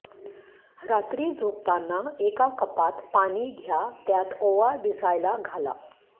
रात्री झोपताना एका कपात पाणी घ्या त्यात ओवा भिजायला घाला